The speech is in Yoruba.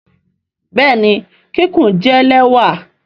Bẹẹni kikun jẹ lẹwa.